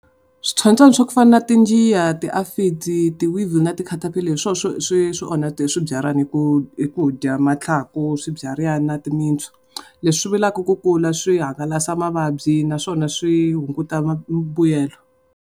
Switsotswani swa ku fana na tinjiya, ti , ti na ti-catapillar hi swona swi swi ohnaka swibyalana hi ku dya mathlaku, swibyariwa ni timitsu. Leswi ku kula swi hangalasa mavabyi naswona swi hunguta mbuyelo.